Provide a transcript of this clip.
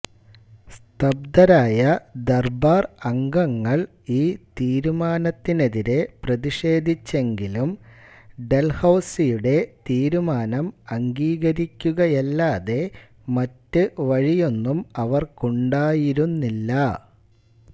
സ്തംബ്ദരായ ദർബാർ അംഗങ്ങൾ ഈ തീരുമാനത്തിനെതിരെ പ്രതിഷേധിച്ചെങ്കിലും ഡൽഹൌസിയുടെ തീരുമാനം അംഗീകരിക്കുകയല്ലാതെ മറ്റു വഴിയൊന്നും അവർക്കുണ്ടായിരുന്നില്ല